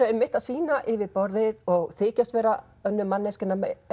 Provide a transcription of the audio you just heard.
að sýna yfirborðið og þykjast vera önnur manneskja